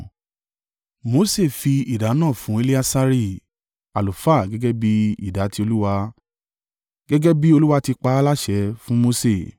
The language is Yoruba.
Mose fi ìdá náà fún Eleasari, àlùfáà gẹ́gẹ́ bí ìdá ti Olúwa, gẹ́gẹ́ bí Olúwa ti pa á láṣẹ fún Mose.